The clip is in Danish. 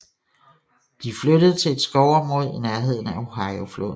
De flyttede til et skovområde i nærheden af Ohiofloden